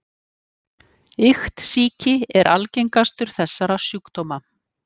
Iktsýki er algengastur þessara sjúkdóma.